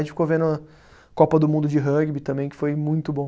A gente ficou vendo Copa do Mundo de Rugby também, que foi muito bom.